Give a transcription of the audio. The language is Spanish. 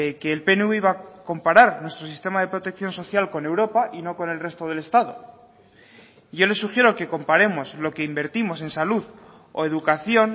que el pnv iba a comparar nuestro sistema de protección social con europa y no con el resto del estado yo le sugiero que comparemos lo que invertimos en salud o educación